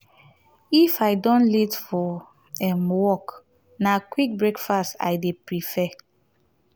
if i don late for um work na quick breakfast i dey prefer.